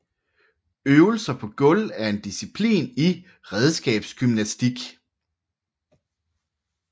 Øvelser på gulv er en disciplin i redskabsgymnastik